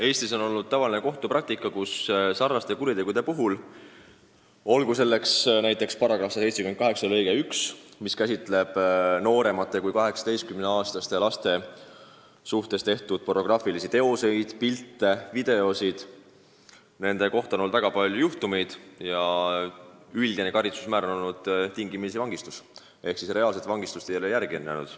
Eestis on olnud tavaline kohtupraktika, et kuritegude eest, mille puhul kohaldatakse § 178 lõiget 1, mis käsitleb nooremate kui 18-aastaste laste osalusel tehtud pornograafilisi pilte, videoid ja muid teoseid – neid juhtumeid on olnud väga palju –, on tavaline karistus tingimisi vangistus ehk siis reaalset vangistust ei ole järgnenud.